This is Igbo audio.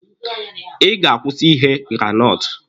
Ị ga-akwụsị ighe granọtụ!